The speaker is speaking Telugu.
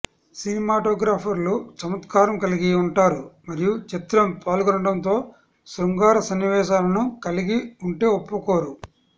సినిమాటోగ్రాఫర్లు చమత్కారం కలిగి ఉంటారు మరియు చిత్రం పాల్గొనడంతో శృంగార సన్నివేశాలను కలిగి ఉంటే ఒప్పుకోరు